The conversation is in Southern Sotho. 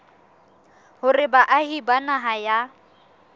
hore baahi ba naha ya